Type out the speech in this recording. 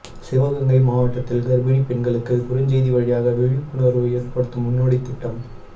சிவகங்கை மாவட்டத்தில் கர்ப்பிணிப் பெண்களுக்கு குறுஞ்செய்தி வழியாக விழிப்புணர்வு ஏற்படுத்தும் முன்னோடித் திட்டம்